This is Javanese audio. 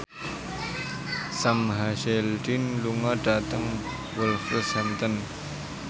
Sam Hazeldine lunga dhateng Wolverhampton